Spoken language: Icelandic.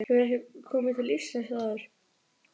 Hefurðu komið til Íslands áður?